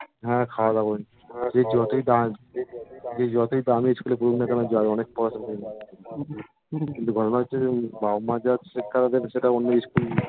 তুই যতই দামি স্কুল এ পড়ুক না কেন যায় অনেক পড়াশোনা করে নিগ কিন্তু গড়বড় হচ্ছে যে বাপ্ মা যে শিক্ষাটা দেবে সেটা অন্য স্কুল